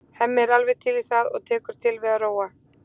Hemmi er alveg til í það og tekur til við að róa.